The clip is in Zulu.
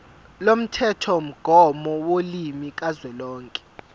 lomthethomgomo wolimi kazwelonke